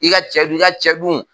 K'i ka cɛ dun? i ka cɛ dun ?